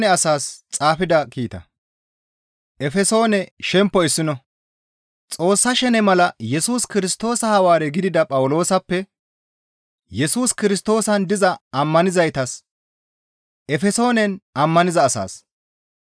Xoossa shene mala Yesus Kirstoosa Hawaare gidida Phawuloosappe, Yesus Kirstoosan diza ammanettizaytas Efesoonen ammaniza asaas,